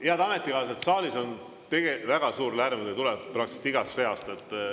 Head ametikaaslased, saalis on väga suur lärm, mis tuleb praktiliselt igast reast.